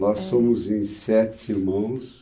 Nós somos em sete irmãos.